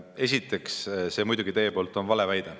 Esiteks, see on teil muidugi valeväide.